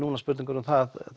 spurningar um það